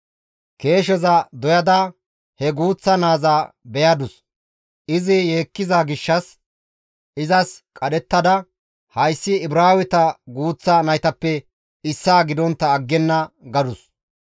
keesheza doyada he guuththa naaza beyadus. Izi yeekkiza gishshas izas qadhettada, «Hayssi Ibraaweta guuththa naytappe issaa gidontta aggenna» gadus.